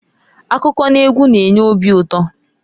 Akụkọ n'egwu na-enye obi ụtọ.